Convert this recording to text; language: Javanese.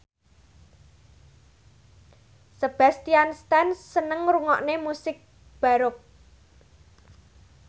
Sebastian Stan seneng ngrungokne musik baroque